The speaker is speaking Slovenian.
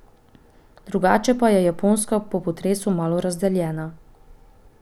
Drugače pa je Japonska po potresu malo razdeljena.